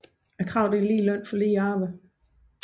Kravet er lige løn for lige arbejde